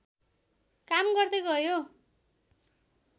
काम गर्दै गयो